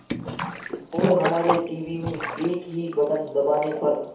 और हमारे टीवी में एक ही बटन दबाने पर